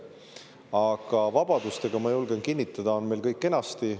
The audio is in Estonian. Aga vabadustega, ma julgen kinnitada, on meil kõik kenasti.